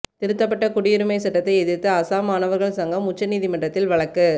திருத்தப்பட்ட குடியுரிமை சட்டத்தை எதிர்த்து அசாம் மாணவர்கள் சங்கம் உச்சநீதிமன்றத்தில் வழக்கு